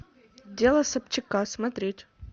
дело собчака смотреть